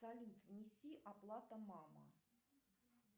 салют внеси оплата мама